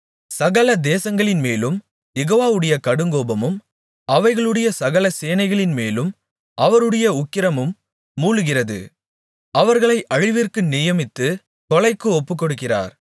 சகல தேசங்களின்மேலும் யெகோவாவுடைய கடுங்கோபமும் அவைகளுடைய சகல சேனைகளின்மேலும் அவருடைய உக்கிரமும் மூளுகிறது அவர்களை அழிவிற்கு நியமித்து கொலைக்கு ஒப்புக்கொடுக்கிறார்